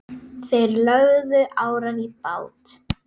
Þeir lögðu árar í bát.